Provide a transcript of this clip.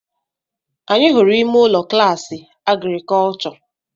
Anyị hụrụ ime ụlọ klaasị Agrikọlchọ